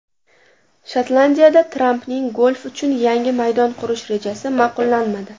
Shotlandiyada Trampning golf uchun yangi maydon qurish rejasi ma’qullanmadi.